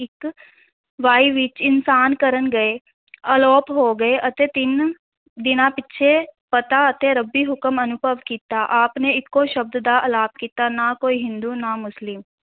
ਵੇਈ ਵਿੱਚ ਇਸ਼ਨਾਨ ਕਰਨ ਗਏ ਅਲੋਪ ਹੋ ਗਏ ਅਤੇ ਤਿੰਨ ਦਿਨਾਂ ਪਿੱਛੇ ਪਤਾ ਅਤੇ ਰੱਬੀ ਹੁਕਮ ਅਨੁਭਵ ਕੀਤਾ, ਆਪ ਨੇ ਇਕੋ ਸ਼ਬਦ ਦਾ ਅਲਾਪ ਕੀਤਾ, ਨਾ ਕੋਈ ਹਿੰਦੂ ਨਾ ਮੁਸਲਿਮ